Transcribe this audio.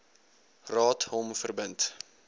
raad hom verbind